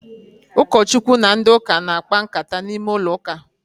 Ụkọ Chukwu na ndị ụka na-akpa nkata n'ime ụlọ uka